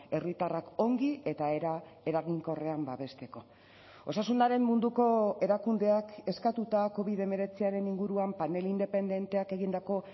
herritarrak ongi eta era eraginkorrean babesteko osasunaren munduko erakundeak eskatuta covid hemeretziaren inguruan panel independenteak egindako